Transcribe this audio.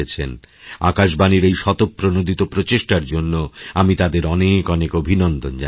আকাশবাণীর এই স্বতঃপ্রণোদিত প্রচেষ্টার জন্য আমি তাদের অনেক অনেক অভিনন্দনজানাচ্ছি